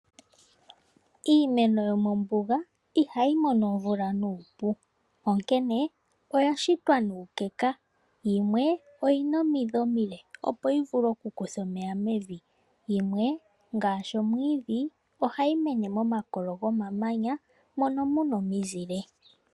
Iimeno yomombuga ihayi mono omvula nuupu onkene oya shitwa nuukeka yimwe oyi na omidhi omile opo yi vule okukutha omeya mevi, yimwe ngaashi omwiidhi ohayi mene momakolo gomamanya mono mu na omizile.